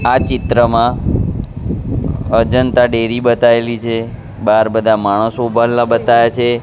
આ ચિત્રમાં અજંતા ડેરી બતાયેલી છે બાર બધા માણસો ઊભા રહેલા બતાયા છે.